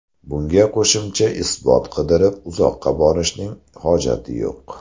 Bunga qo‘shimcha isbot qidirib uzoqqa borishning hojati yo‘q.